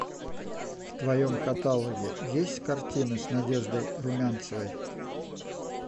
в твоем каталоге есть картины с надеждой румянцевой